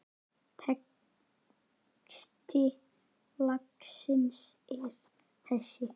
Texti lagsins er þessi